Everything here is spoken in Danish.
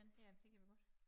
Ja det kan vi godt